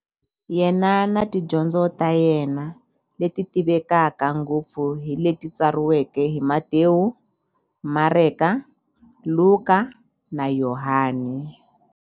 Yena na tidyondzo ta yena, leti tivekaka ngopfu hi leti tsariweke hi-Matewu, Mareka, Luka, na Yohani.